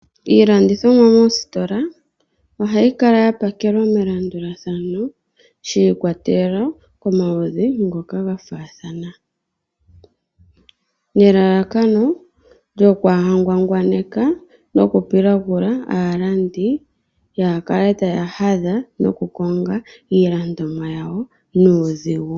Iilandithomwa mositola ohayi kala yapakelwa melandulathano shi ikwatelela komaludhi ngoka gafaathana, nelalakano lyokwaaha ngwangwaneka noku pilagula aalandi yaakale taya hadha noku konga iilandithomwa yawo nuudhigu